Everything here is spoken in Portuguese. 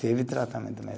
Teve tratamento mesmo.